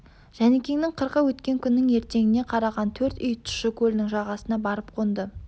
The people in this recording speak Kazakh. жәнікеңнің қырқы өткен күннің ертеңіне қараған төрт үй тұщы көлінің жағасына барып қонды